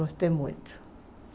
Gostei muito.